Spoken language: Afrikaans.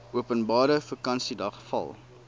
openbare vakansiedag val